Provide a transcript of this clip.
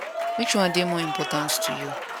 which one dey more important to you